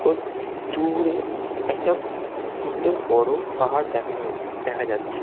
ওই দূ-উ-রে-এ- একটা সুন্দর বড় পাহাড় দেখান দেখা যাচ্ছে।